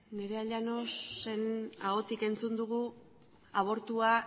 nerea llanosen ahotik entzun dugu abortua